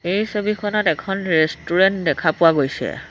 এই ছবিখনত এখন ৰেষ্টুৰেণ্ট দেখা পোৱা গৈছে।